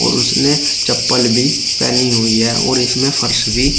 उसने चप्पल भी पहनी हुई है और इसमें फर्श भी--